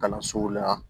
Kalansow la